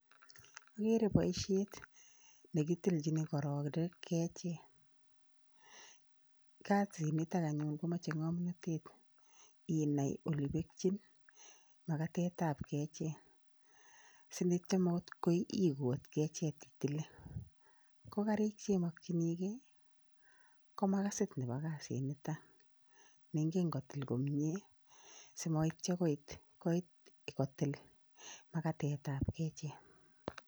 Ageere boisiet ne kitilichin kororik kechirek, kasiit nito anyuun komachei ngomnatet inai ole pekchin makatetab kechet sityo makoi iput kechet itilei. Ko kariik che makchinikei ko makasit nebo kasinito ne ingen kotil komnye simaityo koityo kotil makatetab kechet.